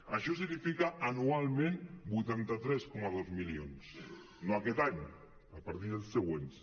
això significa anualment vuitanta tres coma dos milions no aquest any a partir dels següents